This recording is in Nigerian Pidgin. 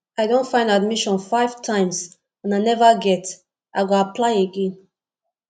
i don find admission five times and i neva get i go apply again